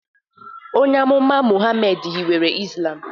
Onye amụma Muhammad hiwere Islam.